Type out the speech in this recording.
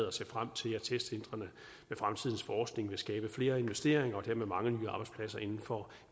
og ser frem til at testcentrene med fremtidens forskning vil skabe flere investeringer og dermed mange nye arbejdspladser inden for